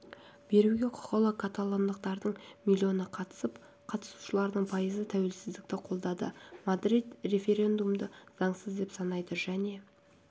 беруге құқықлы каталондықтардың миллионы қатысып қатысушыларының пайызы тәуелсіздікті қолдады мадрид референдумды заңсыз деп санайды және